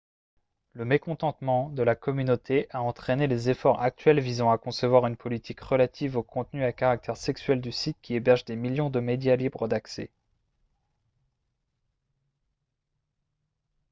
le mécontentement de la communauté a entraîné les efforts actuels visant à concevoir une politique relative au contenu à caractère sexuel du site qui héberge des millions de médias libres d'accès